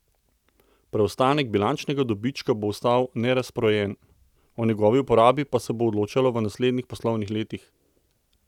Preostanek bilančnega dobička bo ostal nerazporejen, o njegovi uporabi pa se bo odločalo v naslednjih poslovnih letih.